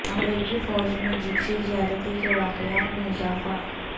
امریکی فوج میں جنسی زیادتی کے واقعات میں اضافہ